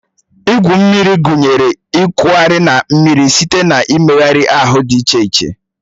Igwu mmiri gụnyere ịkwagharị na mmiri site na mmegharị ahụ dị iche iche